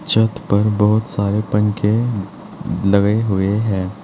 छत पर बहुत सारे पंखे लगे हुए हैं।